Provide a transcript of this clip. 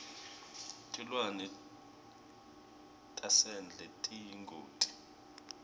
tilwane tasendle tiyingoti